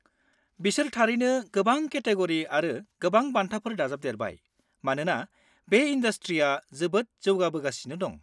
-बिसोर थारैनो गोबां केटेग'रि आरो गोबां बान्थाफोर दाजाबदेरबाय मानोना बे इनडासट्रिया जोबोद जौगाबोगासिनो दं।